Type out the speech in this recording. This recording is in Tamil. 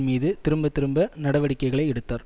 மீது திரும்பத்திரும்ப நடவடிக்கைகளை எடுத்தார்